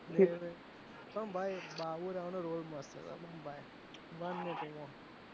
પણ ભાઈ બાબુરાવ નો roll મસ્ત છે